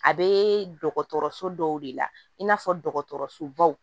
A bɛ dɔgɔtɔrɔso dɔw de la in n'a fɔ dɔgɔtɔrɔsobaw